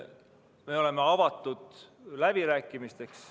Me oleme avatud läbirääkimisteks.